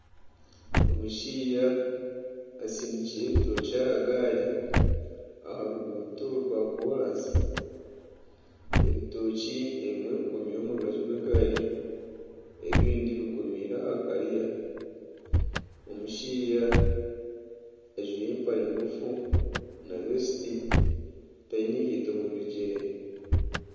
Omushaija asindikire ebitookye aha gaari aha ruguuto rwa koransi. Ebitookye ebimwe bikomirwe omu rubaju rw'egaari ebindi bikomirwe aha kariya. Omushaija ajwaire empare ngufu na vesiti taine nkaito mu bigyere.